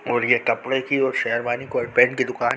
और ये कपड़े की और शेरवानी कोट पेंट की दुकान है।